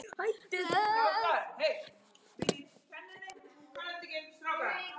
Blessuð sé minning Sollu frænku.